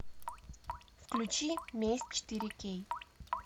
включи месть четыре кей